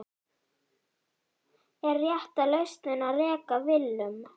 Er rétta lausnin að reka Willum?